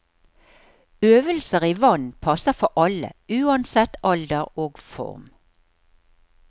Øvelser i vann passer for alle, uansett alder og form.